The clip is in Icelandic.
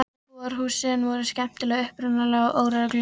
Íbúðarhúsin voru skemmtilega upprunaleg og óregluleg.